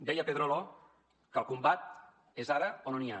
deia pedrolo que el combat és ara o no n’hi ha